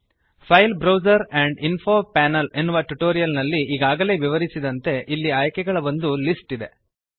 file browser and info panel ಎನ್ನುವ tutorial ನಲ್ಲಿ ಈಗಾಗಲೇ ವಿವರಿಸಿದಂತೆ ಇಲ್ಲಿ ಆಯ್ಕೆಗಳ ಒಂದು ಲಿಸ್ಟ್ ಇದೆ